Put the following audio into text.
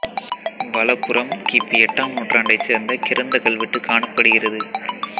வலப்புறம் கி பி எட்டாம் நூற்றாண்டை சேர்ந்த கிரந்த கல்வெட்டு காணப்படுகிறது